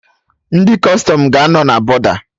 Ndị Kọstọm ga-anọ na bọda